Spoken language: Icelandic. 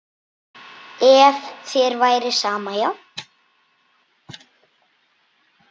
Ef þér væri sama, já.